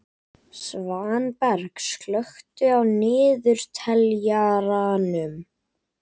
Svanberg, slökktu á niðurteljaranum.